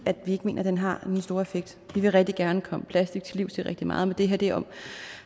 vi ikke mener den har den store effekt vi vil rigtig gerne komme plastik til livs til rigtig meget men det her